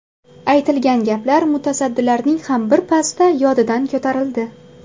Aytilgan gaplar mutasaddilarning ham bir pasda yodidan ko‘tarildi.